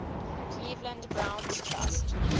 cleveland browns trust